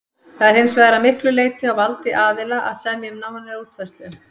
Það er hins vegar að miklu leyti á valdi aðila að semja um nánari útfærslu.